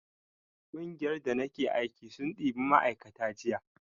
ƙungiyar da nake aiki sun ɗiba ma'aikata jiya